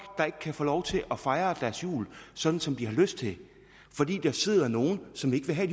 der ikke kan få lov til at fejre deres jul sådan som de har lyst til fordi der sidder nogle som ikke vil have